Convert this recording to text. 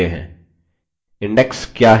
index क्या है